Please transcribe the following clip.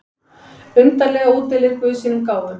Undarlega útdeilir guð sínum gáfum.